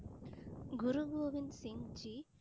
குரு கோகன் சிங்க்ஜி